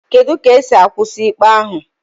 Kedu ka esi akwụsị ikpe ahụ